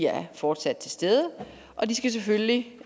er fortsat til stede og de skal selvfølgelig